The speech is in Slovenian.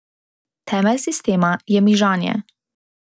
Temelj sistema je mižanje.